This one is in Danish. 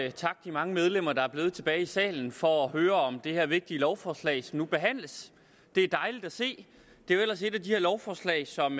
mange medlemmer der er blevet tilbage i salen for at høre om det her vigtige lovforslag som nu behandles det er dejligt at se det er jo ellers et af de lovforslag som